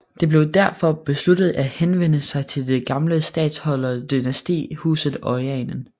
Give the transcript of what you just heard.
Det blev derfor besluttet at henvende sig til det gamle statholderdynasti husetOranien